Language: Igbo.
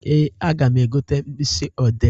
Ee, aga m egote mkpịsị ọdee.